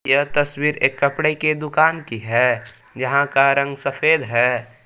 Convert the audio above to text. यह तस्वीर एक कपड़े के दुकान की है यहां का रंग सफेद है।